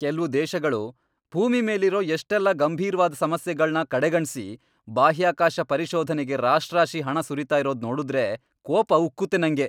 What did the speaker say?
ಕೆಲ್ವು ದೇಶಗಳು ಭೂಮಿ ಮೇಲಿರೋ ಎಷ್ಟೆಲ್ಲ ಗಂಭೀರ್ವಾದ್ ಸಮಸ್ಯೆಗಳ್ನ ಕಡೆಗಣ್ಸಿ ಬಾಹ್ಯಾಕಾಶ ಪರಿಶೋಧನೆಗೆ ರಾಶ್ರಾಶಿ ಹಣ ಸುರೀತಾ ಇರೋದ್ ನೋಡುದ್ರೆ ಕೋಪ ಉಕ್ಕುತ್ತೆ ನಂಗೆ.